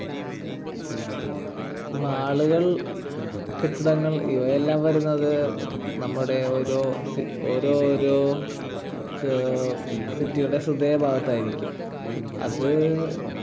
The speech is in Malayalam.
ഈ mall കൾ കെട്ടിടങ്ങൾ ഇവയെല്ലാം വരുന്നത് നമ്മുടെ ഓരോ ഓരോരോ ഏർ city ടെ ഹൃദയഭാഗത്തായിരിക്കും. അത്